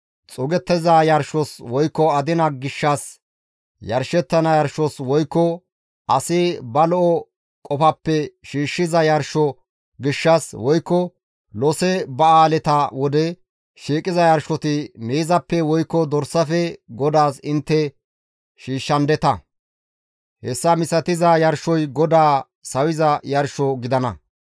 xuugettiza yarshos woykko adina gishshas yarshettana yarshos woykko asi ba lo7o qofappe shiishshiza yarsho gishshas, woykko lose ba7aaleta wode shiiqiza yarshota miizappe woykko dorsafe GODAAS intte shiishshandeta; hessa misatiza yarshoy GODAA sawiza yarsho gidana.